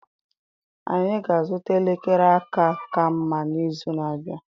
Anyị ga-azụta elekere aka ka mma n'izu na-abịa.